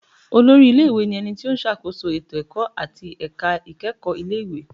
Olórí ilé-ìwé ni ẹni tí ó ṣàkóso ètò ẹ̀kọ́ àti ẹ̀ka ìkẹ́kọ̀ọ́ ilé ìwé